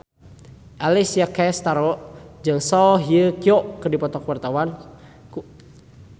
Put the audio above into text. Alessia Cestaro jeung Song Hye Kyo keur dipoto ku wartawan